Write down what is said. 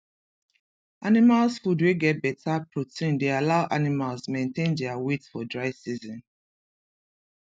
animals food wey get better protein dey allow animals maintain dia weight for dry season